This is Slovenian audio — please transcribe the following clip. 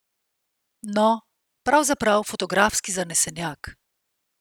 No, pravzaprav fotografski zanesenjak.